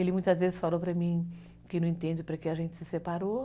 Ele muitas vezes falou para mim que não entende para quê a gente se separou.